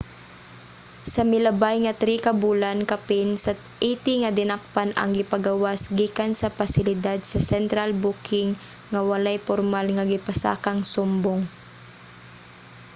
sa milabay nga 3 ka bulan kapin sa 80 nga dinakpan ang gipagawas gikan sa pasilidad sa central booking nga walay pormal nga gipasakang sumbong